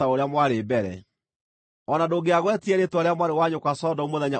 O na ndũngĩagwetire rĩĩtwa rĩa mwarĩ wa nyũkwa Sodomu mũthenya ũcio wetĩĩaga,